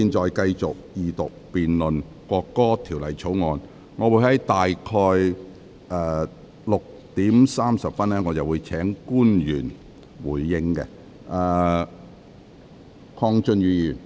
本會現在繼續二讀辯論《國歌條例草案》，我會於大約6時30分邀請官員答辯。